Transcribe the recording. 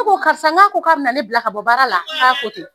ne ko karisa ko k'a bɛna ne bila ka bɔ baara la k'a ko ten